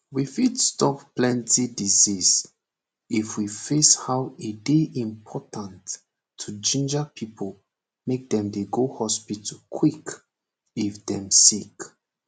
we fit stop plenty disease if we face how e dey important to ginger pipo make dem dey go hospital quick if dem sick